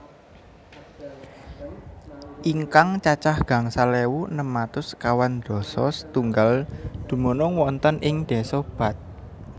Ingkang cacah gangsal ewu enem atus sekawan dasa setunggal dumunung wonten ing Desa Bath